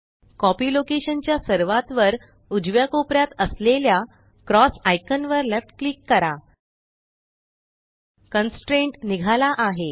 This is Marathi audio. कॉपी लोकेशन च्या सर्वात वर उजव्या कोपऱ्यात असलेल्या क्रॉस आइकान वर लेफ्ट क्लिक करा कन्स्ट्रेंट निघाला आहे